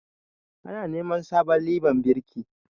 Ana neman sabon liban birki